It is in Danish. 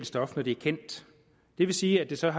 stof når det er kendt det vil sige at det så er